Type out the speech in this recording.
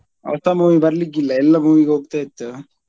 ಹೊಸ movie ಬರ್ಲಿಕ್ಕಿಲ್ಲ ಎಲ್ಲಾ movie ಗೆ ಹೋಗ್ತಾ ಇತ್ತು